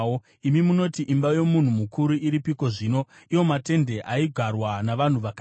Imi munoti, ‘Imba yomunhu mukuru iripiko zvino, iwo matende aigarwa navanhu vakaipa?’